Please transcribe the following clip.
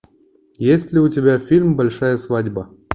есть ли у тебя фильм большая свадьба